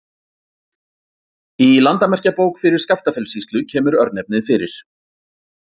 Í Landamerkjabók fyrir Skaftafellssýslu kemur örnefnið fyrir.